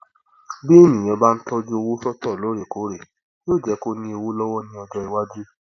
bí ènìyàn bá ń tọjú owó sọtọ lóòrèkóòrè yóó jẹ kí ó ní owó lọwọ ní ọjọ iwájú